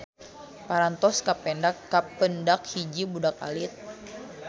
Parantos kapendak hiji budak alit.